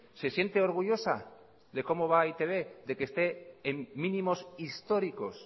se siente orgullosa de cómo va e i te be de que usted en mínimos históricos